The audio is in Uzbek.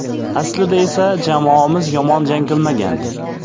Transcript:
Aslida esa jamoamiz yomon jang qilmagandi.